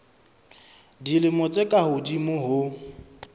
dilemo tse ka hodimo ho